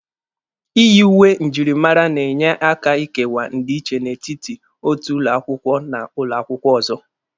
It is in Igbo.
Iyi uwe njirimara na-enye aka ịkewa ndi iche n'etiti otu ụlọ akwụkwọ na ụlọ akwụkwọ ọzọ.